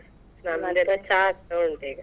ನಮ್ದೇಲ್ಲ ಚಾ ಆಗ್ತಾ ಉಂಟ್ ಈಗ.